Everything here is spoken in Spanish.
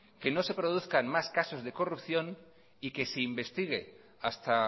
que no se produzcan más casos de corrupción y que se investigue hasta